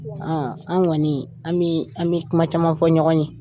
an' ŋɔnii an bee an be kuma caman fɔ ɲɔgɔn ye.